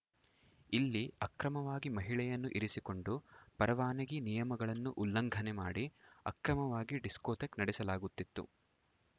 ಇಲ್ಲಿ ಅಕ್ರಮವಾಗಿ ಮಹಿಳೆಯನ್ನು ಇರಿಸಿಕೊಂಡು ಪರವಾನಗಿ ನಿಯಮಗಳನ್ನು ಉಲ್ಲಂಘನೆ ಮಾಡಿ ಅಕ್ರಮವಾಗಿ ಡಿಸ್ಕೋಥೆಕ್‌ ನಡೆಸಲಾಗುತ್ತಿತ್ತು